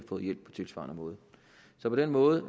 på en tilsvarende måde så på den måde